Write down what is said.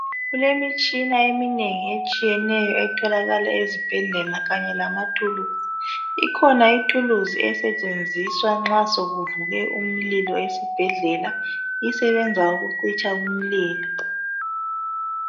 Kulemitshina eminengi etshiyeneyo etholakala ezibhedlela kanye lamathuluzi. Ikhona ithuluzi esetshenziswa nxa sekuvuke umlilo esibhedlela esebenza ukucitsha umlilo.